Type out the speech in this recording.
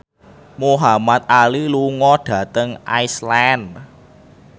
Muhamad Ali lunga dhateng Iceland